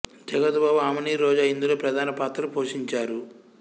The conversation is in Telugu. జగపతి బాబు ఆమని రోజా ఇందులో ప్రధాన పాత్రలు పోషించారు